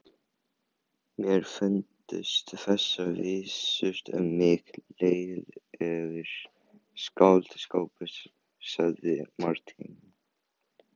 Mér fundust þessar vísur um mig lélegur skáldskapur, sagði Marteinn.